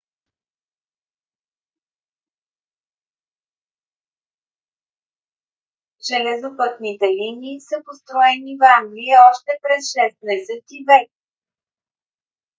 железопътните линии са построени в англия още през 16 - ти век